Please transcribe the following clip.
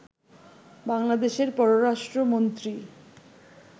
বাংলাদেশের পররাষ্ট্রমন্ত্রী